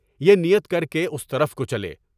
یہ نیت کر کے اس طرف کو چلیں۔